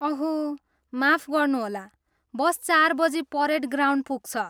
ओह माफ गर्नुहोला, बस चार बजी परेड ग्राउन्ड पुग्छ।